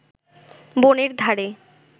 বনের ধারে